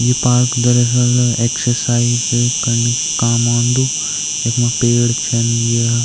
यु park दरअसल exercise करणी की काम औंदु यख्मा पेड़ छन य --